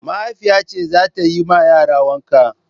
Mahaifiya ce za ta yi ma yara wanka.